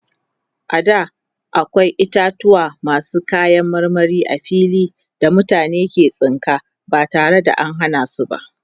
a da akwai itatauwa masu kayan marmari a fili da mutane ke tsinka ba tare da an Hana su ba